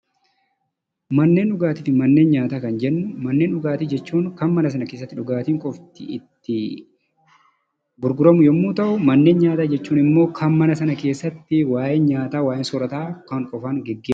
Manneen dhugaatiifi manneen nyaataa kan jennu manneen dhugaatii jechuun kan mana sana keessatti dhugaatiin qofti itti gurguramu yommuu ta'u, manneen nyaataa jechuunimmoo kan mana sana keessatti waayeen nyaataa, waaheen soorata a gaggeefamu jechuudha.